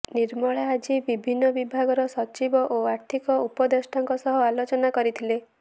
ନିର୍ମଳା ଆଜି ବିଭିନ୍ନ ବିଭାଗର ସଚିବ ଓ ଆର୍ଥିକ ଉପଦେଷ୍ଟାଙ୍କ ସହ ଆଲୋଚନା କରିଥିଲେ